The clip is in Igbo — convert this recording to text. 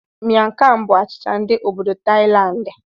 Miang kham bụ achicha ndi obodoThailandi.